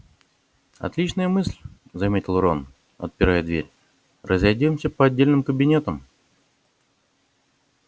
отличная мысль заметил рон отпирая дверь разойдёмся по отдельным кабинетам